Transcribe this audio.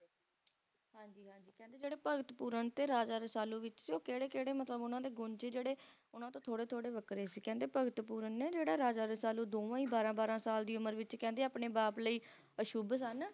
ਹਾਂਜੀ ਹਾਂਜੀ ਕਹਿੰਦੇ ਜਿਹੜੇ Bhagat Pooran ਤੇ Raja Rasalu ਵਿੱਚੋਂ ਕਿਹੜੇ ਕਿਹੜੇ ਮਤਲਬ ਉਹਨਾਂ ਦੇ ਗੁਣ ਸੀ ਜਿਹੜੇ ਉਹਨਾਂ ਤੋਂ ਥੋੜੇ ਥੋੜੇ ਵੱਖਰੇ ਸੀ ਕਹਿੰਦੇ Bhagat Pooran ਨੇ ਜਿਹੜਾ Raja Rasalu ਦੋਵੇਂ ਹੀ ਬਾਰਾਂ ਬਾਰਾਂ ਸਾਲ ਦੀ ਉਮਰ ਵਿੱਚ ਕਹਿੰਦੇ ਆਪਣੇ ਬਾਪ ਲਈ ਅਸ਼ੁੱਭ ਸਨ